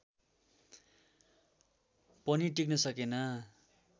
पनि टिक्न सकेन